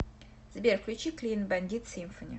сбер включить клин бандит симфони